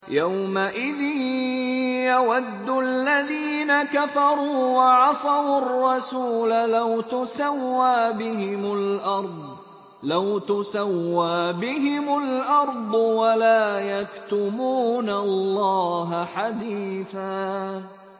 يَوْمَئِذٍ يَوَدُّ الَّذِينَ كَفَرُوا وَعَصَوُا الرَّسُولَ لَوْ تُسَوَّىٰ بِهِمُ الْأَرْضُ وَلَا يَكْتُمُونَ اللَّهَ حَدِيثًا